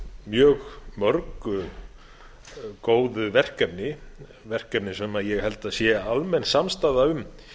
mjög mörg góð verkefni verkefni sem ég held að sé almenn samstaða um